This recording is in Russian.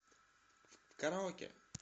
караоке